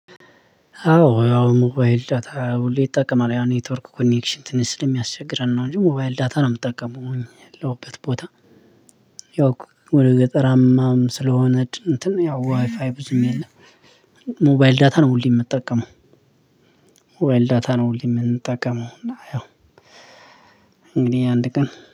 አዎ ያው ሞባይል ዳታ ሁሌ ይጠቀማል ያው ኔትወርኩ ኮኔክሽን ትንሽ ስለሚያስቸግረን ነው እንጂ ሞባይል ዳታ ነው የምጠቀመው የለሁበት ቦታ። ያው ወደ ገጠራማም ስለሆነ እንትን ያው ዋይፋይ ብዙም የለም። ሞባይል ዳታ ነው ሁልየ ምጠቀመው። ሞባይል ዳታ ነው ሁልየ ምንጠቀመው እና ያው እንግዲህ አንድ ቀን